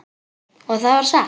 Og það var satt.